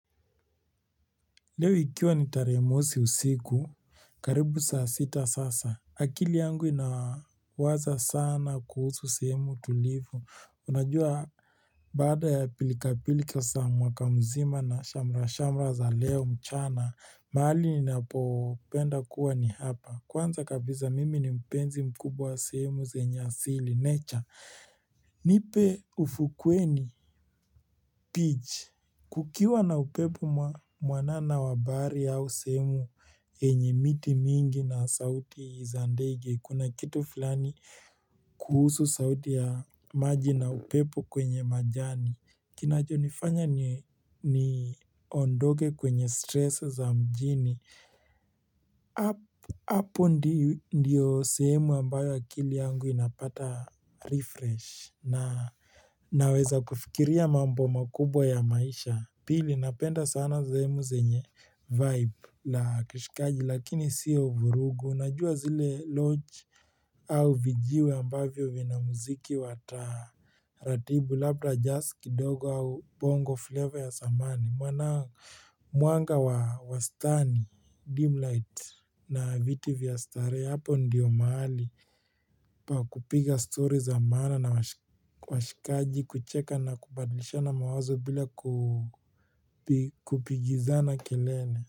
Leo ikiwa ni tarehe mosi usiku karibu saa sita sasa akili yangu inawaza sana kuhusu sehemu tulivu unajua baada ya pilikapilika sa mwaka mzima na shamra-shamra za leo mchana mahali ninapopenda kuwa ni hapa kwanza kabisa mimi ni mpenzi mkubwa wa sehemu zenye asili nature nipe ufukweni kukiwa na upepo mwanana wa bahari au sehemu yenye miti mingi na sauti za ndege kuna kitu fulani kuhusu sauti ya maji na upepo kwenye majani. Kinachonifanya niondoke kwenye stress za mjini. Hapo ndio sehemu ambayo akili yangu inapata refresh na naweza kufikiria mambo makubwa ya maisha. Pili napenda sana sehemu zenye vibe la kishikaji lakini sio vurugu, najua zile lodge au vijiwe ambavyo vina muziki wa taratibu, labda, jazz kidogo au bongo flavor ya samani, mwanga wa stani, dim light na viti vya starehe, hapo ndiyo mahali pa kupiga story za maana na washikaji kucheka na kubadlishana mawazo bila kupigizana kelele.